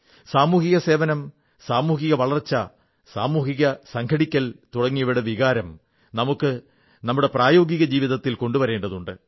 സാമൂഹിക സേവനം സാമൂഹിക വളർച്ച സാമൂഹിക സംഘടിക്കൽ തുടങ്ങിയവയുടെ വികാരം നമുക്ക് നമ്മുടെ പ്രായോഗിക ജീവിതത്തിൽ കൊണ്ടുവരേണ്ടതുണ്ട്